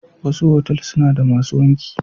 Wasu otal suna da masu wanki.